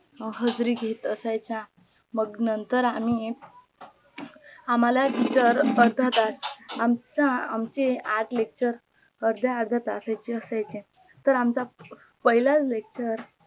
हजरी घेत असायचा मग नंतर आम्ही आम्हाला तर अर्धा तास आमचा आमचे आठ lecture अर्ध्या अर्ध्या तासाचे असायचे तर आमचा पहिला लेकचर